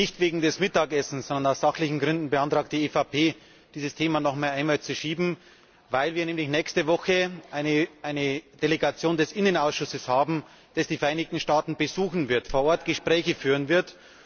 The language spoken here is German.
Nicht wegen des Mittagessens, sondern aus sachlichen Gründen beantragt die EVP, dieses Thema noch einmal zu verschieben, weil wir nächste Woche eine Delegation des Innenausschusses haben, die die Vereinigten Staaten besuchen und vor Ort Gespräche führen wird.